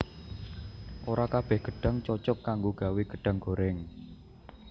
Ora kabèh gedhang cocog kanggo gawé gedahng gorèng